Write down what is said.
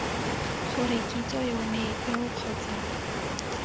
gore kitso yone eo kgotsa